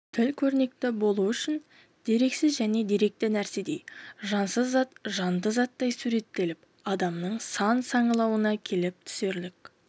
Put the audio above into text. тіл көрнекі болуы үшін дерексіз нәрсе деректі нәрседей жансыз зат жанды заттай суреттеліп адамның сана саңылауына келіп түсерлік